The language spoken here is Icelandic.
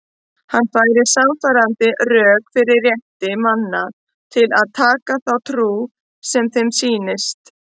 Hann færir sannfærandi rök fyrir rétti manna til að taka þá trú sem þeim sýnist.